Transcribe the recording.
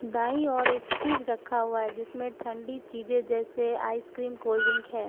दाईं ओर एक फ्रिज रखा हुआ है जिसमें ठंडी चाज़ें जैसे आईक्रीम कोल्ड ड्रिंक है।